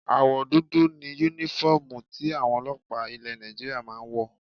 Àwọ̀ dúdú ni Únífọ́ọ̀mù tí àwọn ọlọ́pàá ilẹ̀ Nigeria máa ń wọ̀